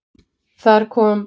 Þar kom